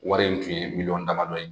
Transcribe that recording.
Wari in tun ye miliyɔn damadɔ ye,